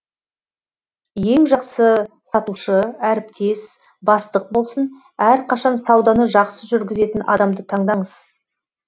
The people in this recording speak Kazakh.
ең жақсы сатушы әріптес бастық болсын әрқашан сауданы жақсы жүргізетін адамды таңдаңыз